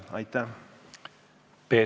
Aitäh!